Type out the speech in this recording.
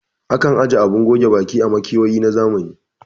Akan aje abun goge baki a makewayi na zamani